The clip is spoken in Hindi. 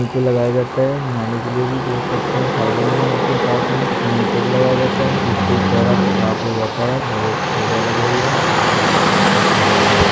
मुँह पे लगाया जाता है नहाने के लिए भी उपयोग करते है साबुन भी मिलते साथ में इसको मुँह पे भी लगया जाता है इससे चेहरा साफ हो जाता है और ये बढ़िया लग रही है ये शानदार है।